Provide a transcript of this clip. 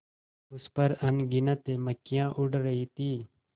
उस पर अनगिनत मक्खियाँ उड़ रही थीं